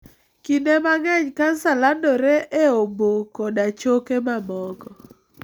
Kinde mang'eny kansa landore e obo koda choke mamoko.